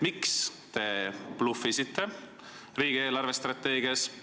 Miks te bluffisite riigi eelarvestrateegias?